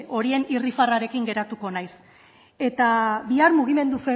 horien irribarrearekin geratuko naiz eta bihar mugimendu